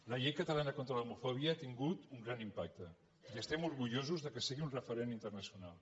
la llei catalana contra l’homofòbia ha tingut un gran impacte i estem orgullosos que sigui un referent inter·nacional